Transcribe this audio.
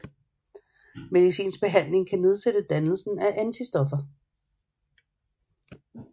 Medicinsk behandling kan nedsætte dannelsen af antistoffer